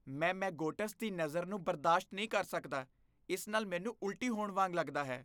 ਮੈਂ ਮੈਗੋਟਸ ਦੀ ਨਜ਼ਰ ਨੂੰ ਬਰਦਾਸ਼ਤ ਨਹੀਂ ਕਰ ਸਕਦਾ, ਇਸ ਨਾਲ ਮੈਨੂੰ ਉਲਟੀ ਹੋਣ ਵਾਂਗ ਲੱਗਦਾ ਹੈ।